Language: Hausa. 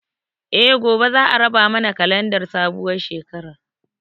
Eh, gobe za a raba mana kalandar sabuwar shekarar